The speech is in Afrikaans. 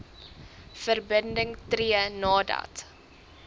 verbinding tree nadat